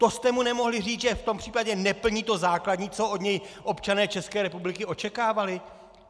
To jste mu nemohli říct, že v tom případě neplní to základní, co od něj občané České republiky očekávali?!